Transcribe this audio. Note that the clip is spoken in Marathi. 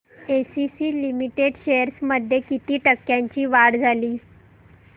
एसीसी लिमिटेड शेअर्स मध्ये किती टक्क्यांची वाढ झाली